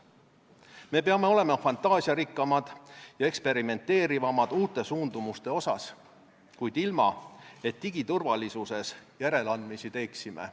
Me peame olema fantaasiarikkamad ja eksperimenteerivamad uute suundumuste osas, kuid ilma, et digiturvalisuses järeleandmisi teeksime.